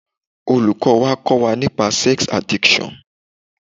Olùkọ́ wa kọ́ wa nípa sex addiction